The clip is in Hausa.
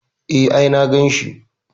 E, I saw him.